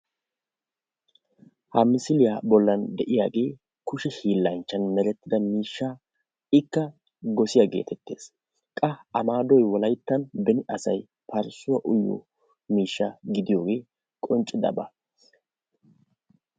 Ha misilya bollan de'iyage kushe hillan meretida ika gossiya geetetees. Qa a maadoy wolayttan beni asaay parssuwaa uyiyo miishsha gidiyoge qonccidaba.